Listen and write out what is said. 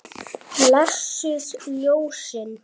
Blessuð ljósin.